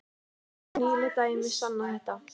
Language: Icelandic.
Og nýleg dæmi sanna þetta.